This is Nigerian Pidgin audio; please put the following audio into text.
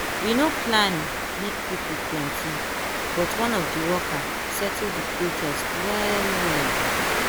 we no plan make people plenty but one of the worker settle the protest well well.